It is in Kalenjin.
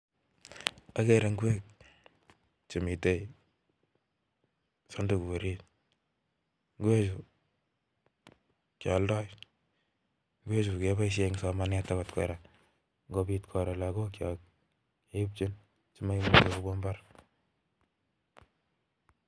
Agere ngweek chemitei sandugu orit ngweechuu kealdai akebaishe Eng somanet kora